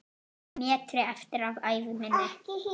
metri eftir af ævi minni.